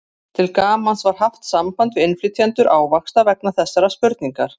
Til gamans var haft samband við innflytjendur ávaxta vegna þessarar spurningar.